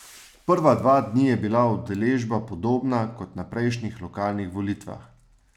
Prva dva dni je bila udeležba podobna kot na prejšnjih lokalnih volitvah.